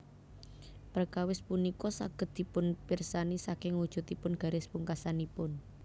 Perkawis punika saged dipunpirsani saking wujudipun garis pungkasanipun